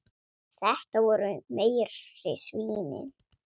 Þetta voru meiri svínin.